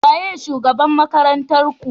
Waye shugaban makarantar Ku?